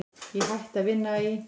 Ég hætti að vinna í